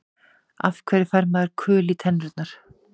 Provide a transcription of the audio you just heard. Af hverju fær maður kul í tennurnar?